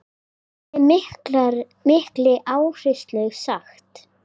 Með mikilli áherslu sagt.